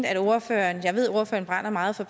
at ordføreren brænder meget for